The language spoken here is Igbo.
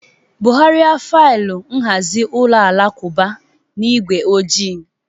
Bugharịa faịlụ nhazi ụlọ alakụba na igwe ojii.